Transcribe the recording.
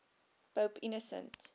pope innocent